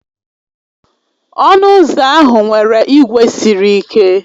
Ọnụ ụzọ ahụ nwere ígwè sịrị ike